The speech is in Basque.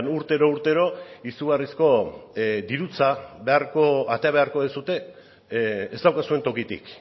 urtero urtero izugarrizko dirutza atera beharko duzue ez daukazuen tokitik